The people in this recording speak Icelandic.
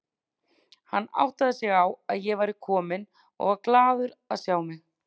Hann áttaði sig á að ég væri komin og var glaður að sjá mig.